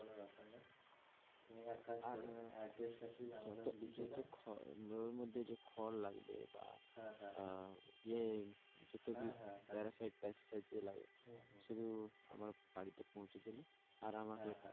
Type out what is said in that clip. তুমি এক কাজ করো address টা শুধু আমাদের আমাকে লিখে দাও যত যত খড় ওর মধ্যে যে খড় লাগবে বা হ্যাঁ হ্যাঁ আহ ইয়ে যতো parasite parasite যে লাগে শুধু আমার বাড়িতে পৌঁছে দিলে আর আমাকে,